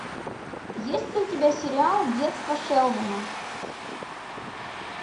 есть ли у тебя сериал детство шелдона